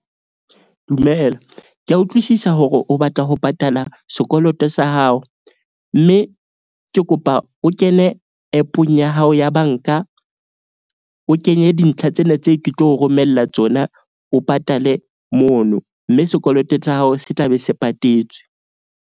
Dumela, ke a utlwisisa hore o batla ho patala sekoloto sa hao. Mme ke kopa o kene app-ong ya hao ya bank-a, o kenye dintlha tsena tse ke tlo romella tsona o patale mono. Mme sekoloto sa hao se tlabe se patetswe.